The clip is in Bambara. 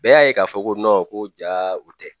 Bɛɛ y'a ye k'a fɔ ko ko jaa u tɛ